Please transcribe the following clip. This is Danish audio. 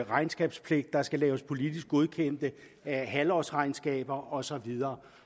regnskabspligt der skal laves politisk godkendte halvårsregnskaber og så videre